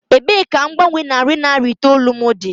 Ebee ka mgbanwe narị naira itoolu m dị?